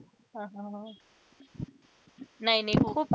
हा हा हा, नाही नाही हो.